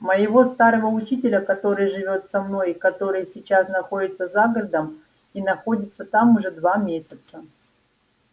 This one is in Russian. моего старого учителя который живёт со мной и который сейчас находится за городом и находится там уже два месяца